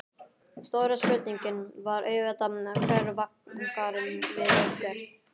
Stóra spurningin var auðvitað: Hver vangar við hvern?